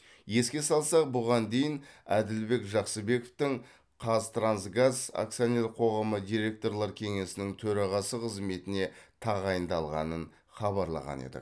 еске салсақ бұған дейін әділбек жақсыбековтің қазтрансгаз акционерлік қоғамы директорлар кеңесінің төрағасы қызметіне тағайындалғанын хабарлаған едік